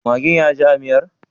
Maggin yaji a miyar?